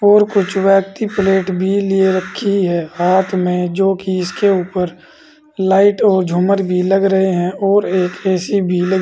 और कुछ व्यक्ति प्लेट भी लिए रखी है हाथ में जो कि इसके ऊपर लाइट और झूमर भी लग रहे हैं और एक ए_सी भी लग--